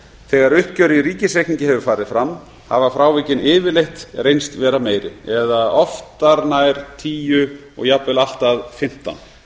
þegar uppgjör í ríkisreikningi hefur farið fram hafa frávikin yfirleitt reynst vera meiri oftar nær tíu prósent og jafnvel allt að fimmtán